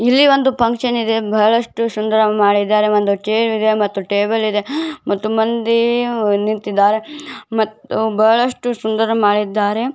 ಇಲ್ಲಿ ಒಂದು ಫುನ್ಕ್ಷನ್ ಇಡೀ ಬಹಳಷ್ಟು ಸುಂದರ ಮಾಡಿದ್ದಾರೆ ಒಂದು ಚೇರ್ ಇದು ಟೇಬಲ್ ಇದು ಮತ್ತು ಮಂದಿ ನಿಂತಿದ್ದಾರೆ ಬಹಳಷ್ಟು ಸುಂದರ ಮಾಡಿದ್ದಾರೆ